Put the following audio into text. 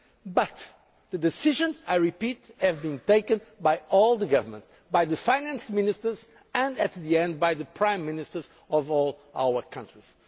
level. But the decisions, I repeat, have been taken by all the governments, by the finance ministers and, ultimately, by the prime ministers of all our